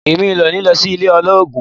Mi ò ní ní ilé olórogún.